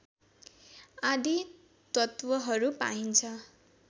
आदि तत्त्वहरू पाइन्छ